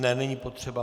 Ne, není potřeba.